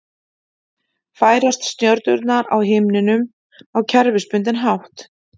Færast stjörnurnar á himninum á kerfisbundinn hátt?